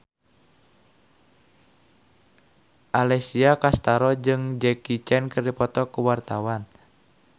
Alessia Cestaro jeung Jackie Chan keur dipoto ku wartawan